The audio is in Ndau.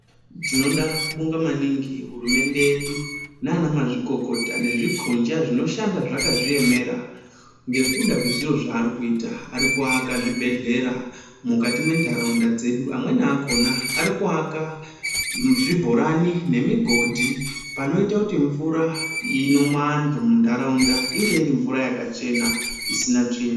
Tinoda kubonga maningi hurumende yedu nanamazvikokota nezvikunja zvinoshanda zvakazviemera ngekuda kwezviro zveari kuita ari kuaka zvibhedhlera mukati mwentaraunda dzedu amweni akona ari kuaka zvibhorani nemigodhi panoita kuti mvura inomwa antu muntaraunda inge iri mvura yakachena isina tsvina.